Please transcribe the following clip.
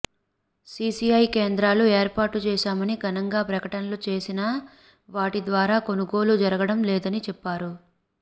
CCI కేంద్రాలు ఏర్పాటు చేశామని ఘనంగా ప్రకటనలు చేసినా వాటి ద్వారా కొనుగోలు జరగడం లేదని చెప్పారు